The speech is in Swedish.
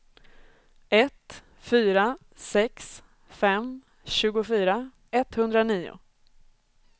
ett fyra sex fem tjugofyra etthundranio